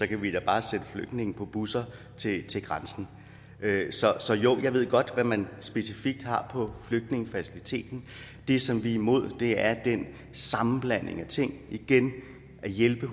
kan vi da bare sætte flygtningene på busser til til grænsen så jo jeg ved godt hvad man specifikt har på flygtningefaciliteten det som vi er imod er den sammenblanding af ting igen at hjælpe